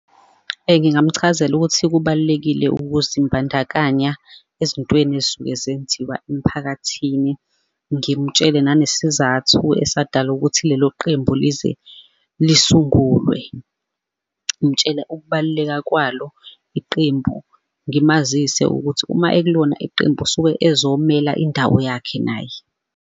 Ngingamchazela ukuthi kubalulekile ukuzimbandakanya ezintweni ezisuke zenziwa emiphakathini. Ngimtshele ninesizathu esadala ukuthi lelo qembu lize lisungulwe. Ngitshele ukubaluleka kwalo iqembu, ngimazise ukuthi uma ekulona iqembu usuke ezomela indawo yakhe naye.